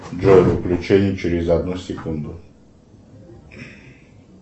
джой выключение через одну секунду